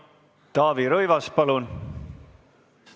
Taavi Rõivas, palun!